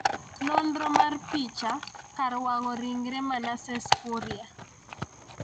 nonro mar picha. kar wang'o ringre Manasses Kuria